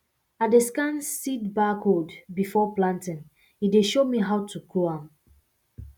i dey scan seed barcode before planting e dey show me how to grow am